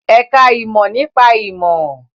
Ẹ̀ka ìmọ̀ nípa ìmọ̀